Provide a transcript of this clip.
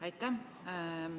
Aitäh!